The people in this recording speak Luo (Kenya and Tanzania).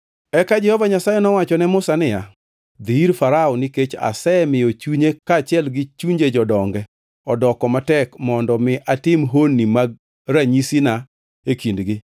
Eka Jehova Nyasaye nowacho ne Musa niya, “Dhi ir Farao, nikech asemiyo chunye kaachiel gi chunje jodonge odoko matek mondo mi atim honnigi mag ranyisina e kindgi;